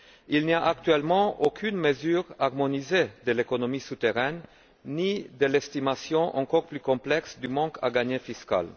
Il n'y a, actuellement, aucune mesure harmonisée de l'économie souterraine, ni aucune estimation, encore plus complexe, du manque à gagner fiscal.